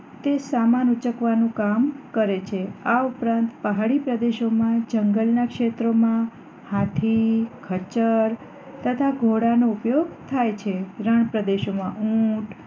તે સામાન ઊંચકવાનું કામ કરે છે અને આ ઉપરાંત પહાડી પ્રદેશો માં જંગલ ના ક્ષેત્રોમાં હાથી ખચર તથા ઘોડા નો ઉપયોગ થાય છે રણ પ્રદેશોમાં ઊંટ